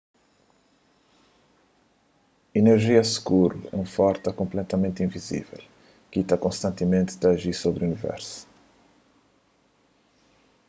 inerjia skuru é un forsa konpletamenti invizível ki sta konstantimenti ta aji sobri universu